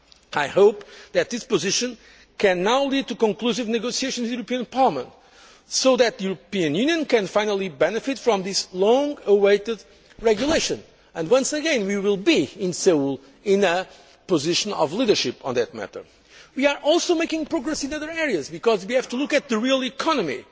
funds. I hope that this position can now lead to conclusive negotiations in the European Parliament so that the European Union can finally benefit from this long awaited regulation and, once again, we will be in a position of leadership on that matter in Seoul. We are also making progress in other areas because we have to look at the real